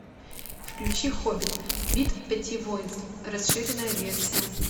включи хоббит битва пяти воинств расширенная версия